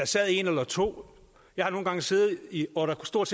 sad en eller to jeg har nogle gange siddet hvor der stort